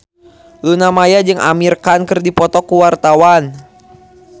Luna Maya jeung Amir Khan keur dipoto ku wartawan